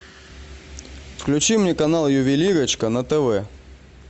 включи мне канал ювелирочка на тв